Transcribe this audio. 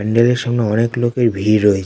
প্যান্ডেল এর সামনে অনেক লোকের ভিড় রয়ে--